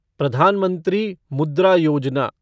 Pradhan Mantri Mudra Yojana